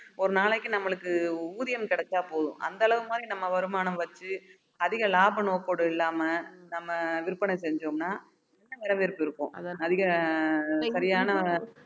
ஒரு நாளைக்கு நம்மளுக்கு ஊதியம் கிடைச்சா போதும் அந்த அளவு மாதிரி நம்ம வருமானம் வச்சு அதிக லாப நோக்கோடு இல்லாம நம்ம விற்பனை செஞ்சோம்னா வரவேற்பு இருக்கும் அதிக சரியான